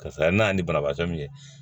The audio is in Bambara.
Karisa ye n'a ye ni banabaatɔ min ye